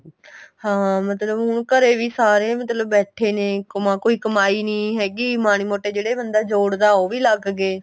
ਹਾਂ ਮਤਲਬ ਹੁਣ ਘਰੇ ਵੀ ਸਾਰੇ ਮਤਲਬ ਬੈਠੇ ਨੇ ਕਮਾ ਕੋਈ ਕਮਾਈ ਨੀਂ ਹੈਗੀ ਮਾੜਾ ਮੋਟਾ ਜਿਹੜਾ ਬੰਦਾ ਜੋੜਦਾ ਉਹ ਵੀ ਲੱਗ ਗਏ